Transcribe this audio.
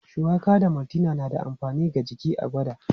Shuwaka da maltina na da amfani ga jiki, a gwada.